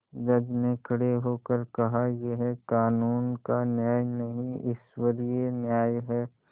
जज ने खड़े होकर कहायह कानून का न्याय नहीं ईश्वरीय न्याय है